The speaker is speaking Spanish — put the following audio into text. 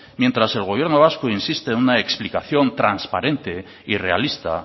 mientras el gobierno vasco insiste en una explicación transparente y realista